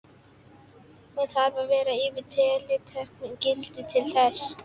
Hún þarf að vera yfir tilteknu gildi til þess.